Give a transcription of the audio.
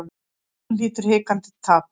Sjaldan hlýtur hikandi happ.